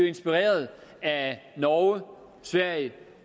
inspirere af norge sverige